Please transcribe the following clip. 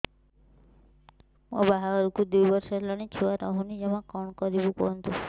ମୋ ବାହାଘରକୁ ଦୁଇ ବର୍ଷ ହେଲାଣି ଛୁଆ ରହୁନି ଜମା କଣ କରିବୁ କୁହନ୍ତୁ